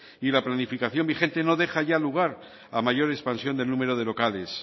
y la planificación vigente no deja ya lugar a mayor expansión del número de locales